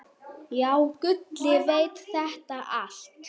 Já, Gulli veit þetta allt.